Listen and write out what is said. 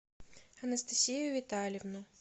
анастасию витальевну